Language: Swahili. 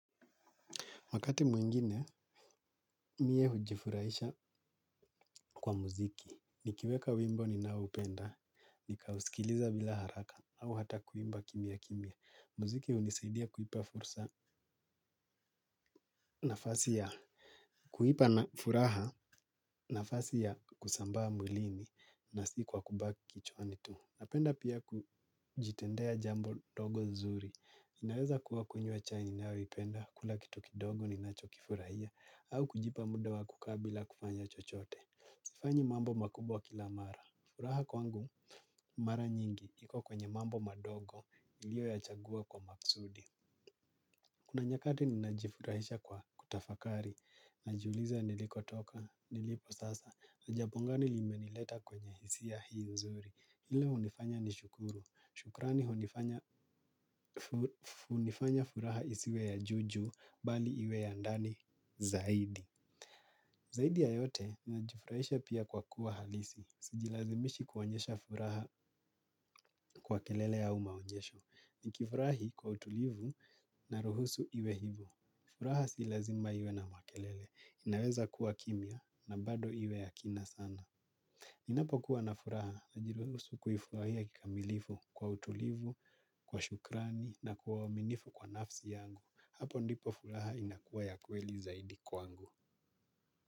Wakati mwingine, mie hujifurahisha kwa muziki. Nikiweka wimbo ninaoupenda, nikausikiliza bila haraka au hata kuimba kimya kimya. Muziki hunisaidia kuipa furaha nafasi ya kusambaa mwilini na si kwa kubaki kichwani tu. Napenda pia kujitendea jambo dogo nzuri. Inaweza kuwa kunywa chai ninayoipenda, kula kitu kidogo ninacho kifurahia. Au kujipa muda wa kukaa bila kufanya chochote. Sifanyi mambo makubwa kila mara. Furaha kwangu, mara nyingi, iko kwenye mambo madogo, niliyoyachagua kwa makusudi. Kuna nyakati ninajifurahisha kwa kutafakari, najiuliza nilikotoka, niliposasa, ni jambo ngani limenileta kwenye hisia hii nzuri. Lile hunifanya nishukuru. Shukrani hunifanya furaha isiwe ya juu juu, bali iwe ya ndani zaidi. Zaidi ya yote, najifurahisha pia kwa kuwa halisi. Sijilazimishi kuonyesha furaha kwa kelele au maonyesho. Nikifurahi kwa utulivu na ruhusu iwe hivyo. Furaha si lazima iwe na makelele. Inaweza kuwa kimya na bado iwe ya kina sana. Ninapokuwa na furaha, najiruhusu kuifurahia kikamilifu kwa utulivu, kwa shukrani na kwa uaminifu kwa nafsi yangu. Hapo ndipo furaha inakuwa ya kweli zaidi kwangu.